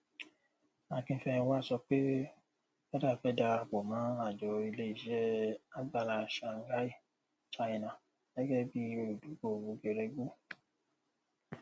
akínfẹnwá sọ pé feda fẹ darapọ mọ àjọ iléiṣẹ agbára shanghai china gẹgẹ bí olùdókòwò geregu